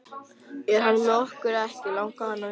Er hann með okkur eða ekki? langaði hann að vita.